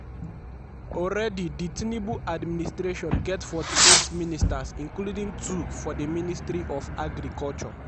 already di tinubu administration get 48 ministers including two for di ministry of agriculture.